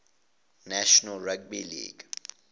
national rugby league